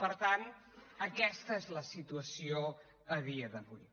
per tant aquesta és la situació a dia d’avui